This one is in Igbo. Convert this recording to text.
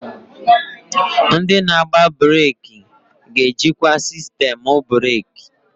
Ndị na-agba breeki ga-ejikwa sistemu breeki.